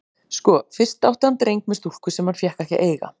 Sko, fyrst átti hann dreng með stúlku sem hann fékk ekki að eiga.